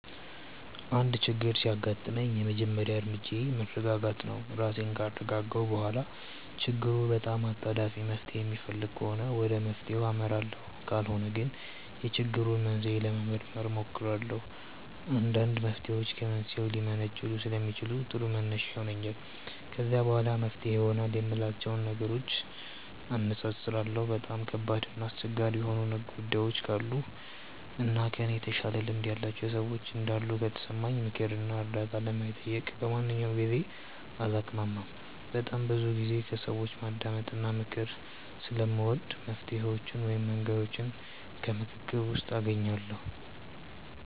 አንድ ችግር ሲያጋጥመኝ የመጀመሪያ እርምጃዬ መረጋጋት ነው። ራሴን ካረጋጋሁ በኋላ ችግሩ በጣም አጣዳፊ መፍትሔ የሚፈልግ ከሆነ ወደ መፍትሔው አመራለሁ ካልሆነ ግን የችግሩን መንስኤ ለመመርመር እሞክራለሁ። አንዳንድ መፍትሔዎች ከመንስኤው ሊመነጩ ስለሚችሉ ጥሩ መነሻ ይሆነኛል። ከዛ በኋላ መፍትሄ ይሆናሉ የምላቸውን ነገሮች አነፃፅራለሁ። በጣም ከባድ እና አስቸጋሪ የሆኑ ጉዳዮች ካሉ እና ከእኔ የተሻለ ልምድ ያላቸው ሰዎች እንዳሉ ከተሰማኝ ምክር እና እርዳታ ለመጠየቅ በማንኛውም ጊዜ አላቅማማም። በጣም ብዙ ጊዜ ከሰዎች ማዳመጥ እና ምክር ስለምወድ መፍትሔዎቹን ወይም መንገዶቹን ከምክክር ውስጥ አገኛቸዋለሁ።